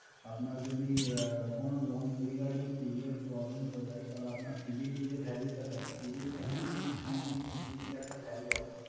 আপনার যদি কোনো loan regarding previuos problems হয়ে থাকে, তাহলে আপনার civil যে value টা থাকে, civil actually three digit একটা value হয়